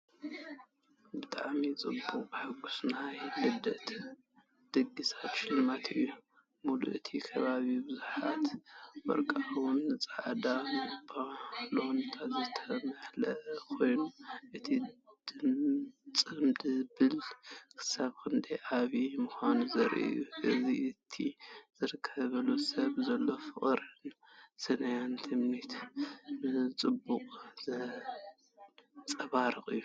ብጣዕሚ ድሙቕን ሕጉስን ናይ ልደት ድግስ ሽልማት እዩ። ምሉእ እቲ ከባቢ ብብዙሓት ወርቓውን ጻዕዳን ባሎናትን ዝተመልአ ኮይኑ፡ እቲ ጽምብል ክሳብ ክንደይ ዓቢይ ምዃኑ ዘርኢ እዩ። እዚ ነቲ ዝኽበር ሰብ ዘሎ ፍቕርን ሰናይ ትምኒትን ብጽቡቕ ዘንጸባርቕ እዩ!